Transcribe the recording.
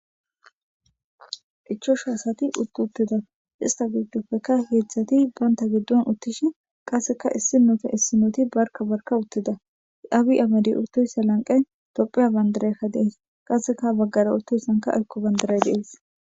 ichashu asati utt uttida ista giddopfekka heedzdzati baynta giddon uttishi qasseka issi noota issinooti barka barka uttida abi amedi uttoyssa lanqe topheya bandarekka de'ees qasseka baggara uttoysanka iykko bandaray de'ees